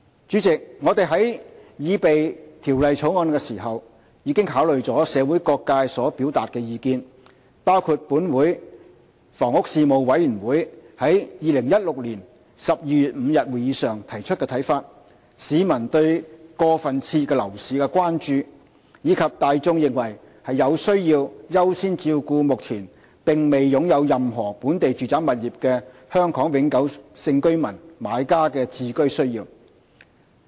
主席，我們在擬備《條例草案》時，已考慮社會各界所表達的意見，包括立法會房屋事務委員會於2016年12月5日會議上提出的看法、市民對過分熾熱的樓市的關注，以及大眾的意見，他們認為有需要優先照顧目前並未擁有任何本地住宅物業的香港永久性居民買家的置居需要。